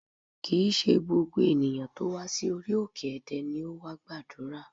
Kì í ṣe gbogbo tó wá sí orí òkè Ẹdẹ ni ó wá gbàdúrà